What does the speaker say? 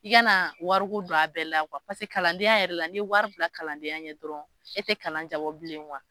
I kana wari don a bɛɛ la paseke kalandenya yɛrɛ la, ni ye wari bila kalandenya ɲɛ dɔrɔn, e tɛ kalan ja bilen